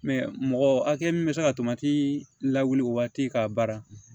mɔgɔ hakɛ min bɛ se ka tomati la wuli o waati k'a baara